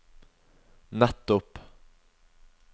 nettopp